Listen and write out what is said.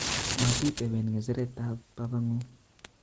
Motiteben ngeche'ret tab babanguk